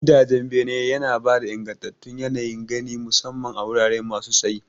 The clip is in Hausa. Gidan bene yana ba da ingantattun yanayin gani, musamman a wurare masu tsayi.